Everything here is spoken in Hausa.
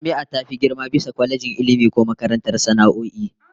Jami'a ta fi girma bisa kwalejin Ilmi ko makarantar sana'o'i